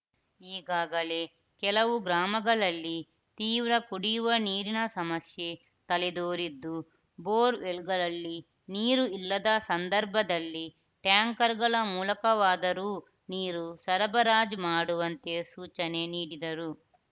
ಈಗಾಗಲೇ ಕೆಲವು ಗ್ರಾಮಗಳಲ್ಲಿ ತೀವ್ರ ಕುಡಿಯುವ ನೀರಿನ ಸಮಸ್ಯೆ ತಲೆದೋರಿದ್ದು ಬೋರ್‌ವೆಲ್‌ಗಳಲ್ಲಿ ನೀರು ಇಲ್ಲದ ಸಂದರ್ಭದಲ್ಲಿ ಟ್ಯಾಂಕರ್‌ಗಳ ಮೂಲಕವಾದರೂ ನೀರು ಸರಬರಾಜು ಮಾಡುವಂತೆ ಸೂಚನೆ ನೀಡಿದರು